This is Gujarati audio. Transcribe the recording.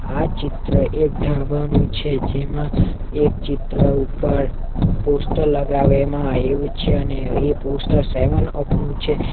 આ ચિત્ર એક ઢાબાનું છે જેમાં એક ચિત્ર ઉપર પોસ્ટર લગાવેમાં આયવું છે અને એ પોસ્ટર સેવન અપ નું છે.